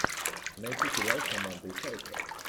найти сериал с амандой сайфред